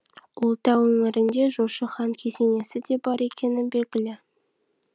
ұлытау өңірінде жошы хан кесенесі де бар екені белгілі